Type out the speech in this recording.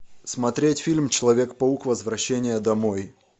смотреть фильм человек паук возвращение домой